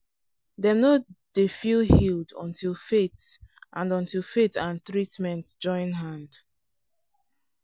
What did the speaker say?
dem no dey feel healed until faith and until faith and treatment join hand.